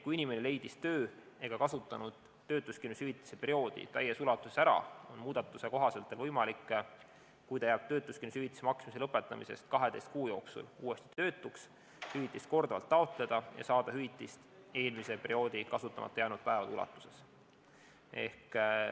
Kui inimene leidis töö ega kasutanud töötuskindlustushüvitise perioodi täies ulatuses ära, on muudatuse kohaselt võimalik, kui ta jääb töötuskindlustushüvitise maksmise lõpetamisest 12 kuu jooksul uuesti töötuks, hüvitist korduvalt taotleda ja saada hüvitist eelmise perioodi kasutamata jäänud päevade ulatuses.